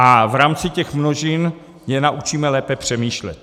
A v rámci těch množin je naučíme lépe přemýšlet.